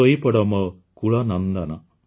ଶୋଇପଡ଼ ମୋ କୁଳ ନନ୍ଦନ